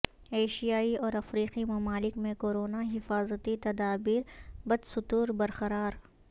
ایشیائی اور افریقی ممالک میں کورونا حفاظتی تدابیر بدستور برقرار